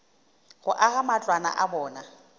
go aga matlwana a bona